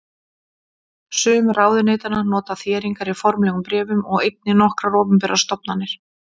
Sum ráðuneytanna nota þéringar í formlegum bréfum og einnig nokkrar opinberar stofnanir.